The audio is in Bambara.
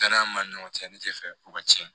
Danaya b'an ni ɲɔgɔn cɛ ne tɛ fɛ u ka tiɲɛ